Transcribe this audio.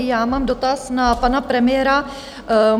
I já mám dotaz na pana premiéra.